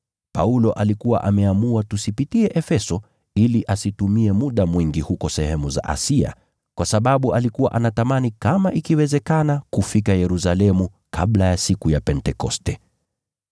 Paulo alikuwa ameamua tusipitie Efeso ili asitumie muda mwingi huko sehemu za Asia, kwa sababu alikuwa anatamani kama ikiwezekana kufika Yerusalemu kabla ya siku ya Pentekoste.